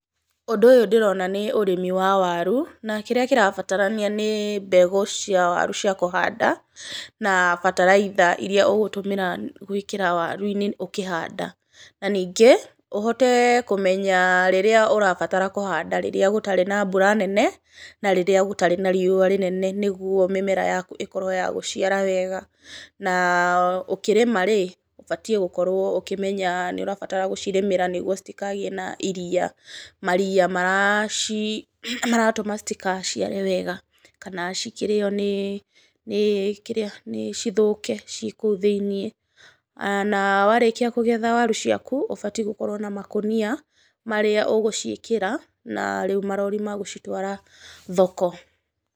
Ũndũ ũyũ ndĩrona nĩ ũrĩmi wa waru, na kĩrĩa kĩrabatarania nĩ mbegũ cia waru cia kũhanda, na bataraitha iria ũgũtũmĩra gũĩkĩra waru-inĩ ũkĩhanda, na ningĩ ũhote kũmenya rĩrĩa ũrabatara kũhanda, rĩrĩa gũtarĩ na mbura nene na rĩrĩa gũtarĩ na riũa rĩnene nĩ guo mĩmera yaku ĩkorwo ya gũciara wega. Na ũkĩrĩma-rĩ, ũbatiĩ gũkorwo ũkĩmenya nĩ ũramenya nĩ ũrabatara gũcirĩmĩra, nĩguo citikagĩe na iria, maria maratũma citikaciare wega, kana cikĩrĩo nĩ cithũke ciĩ kũu thĩiniĩ. Na warĩkia kũgetha waru ciaku ũbatiĩ gũkorwo na makũnia marĩa ũgũciĩkĩra na rĩu marori ma gũcitwara thoko.